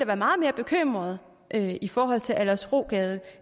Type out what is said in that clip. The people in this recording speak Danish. være meget mere bekymret i forhold til aldersrogade